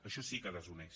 això sí que desuneix